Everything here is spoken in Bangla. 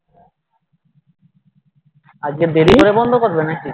আজকে দেরি করে বন্ধ করবে নাকি